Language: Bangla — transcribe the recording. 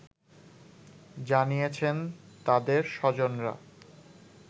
জানিয়েছেন তাদের স্বজনরা